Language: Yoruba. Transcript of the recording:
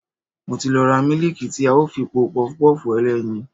Mo ti lọ ra mílíìkì tí a ó fi po Pọpọ́ọ̀fù ẹlẹ́yin.